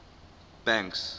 banks